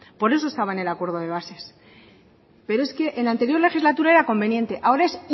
por eso estaba en el acuerdo de bases pero es que en la anterior legislatura era conveniente ahora es